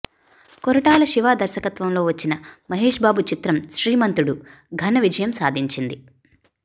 కొరటాల శివ దర్శకతంలో వచ్చిన మహేష్ బాబు చిత్రం శ్రీమంతుడు ఘనవిజయం సాధించింది